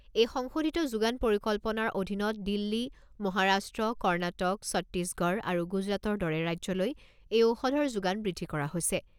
এই সংশোধিত যোগান পৰিকল্পনাৰ অধীনত দিল্লী, মহাৰাষ্ট্ৰ, কৰ্ণাটক, ছত্তিগড় আৰু গুজৰাটৰ দৰে ৰাজ্যলৈ এই ঔষধৰ যোগান বৃদ্ধি কৰা হৈছে।